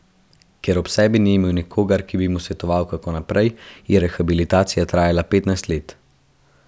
Ker ob sebi ni imel nikogar, ki bi mu svetoval, kako naprej, je rehabilitacija trajala petnajst let.